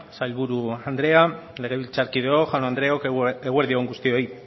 sailburu andrea legebiltzarkideok jaun andreok eguerdi on guztioi